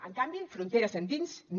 en canvi fronteres endins no